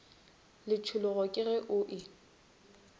letšhologo ke ge o e